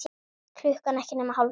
Klukkan ekki nema hálf sex.